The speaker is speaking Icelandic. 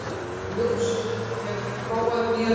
Ljósunn, hefur þú prófað nýja leikinn?